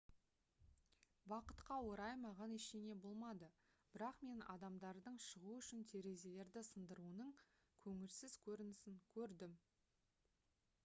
бақытқа орай маған ештеңе болмады бірақ мен адамдардың шығу үшін терезелерді сындыруының көңілсіз көрінісін көрдім